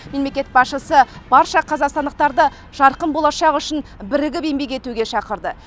мемлекет басшысы барша қазақстандықты жарқын болашақ үшін бірігіп еңбек етуге шақырды